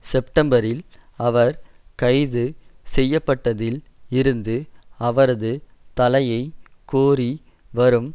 செப்டம்பரில் அவர் கைது செய்ய பட்டதில் இருந்து அவரது தலையை கோரி வரும்